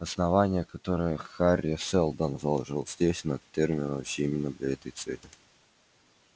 основание которое хари сэлдон заложил здесь на терминусе именно для этой цели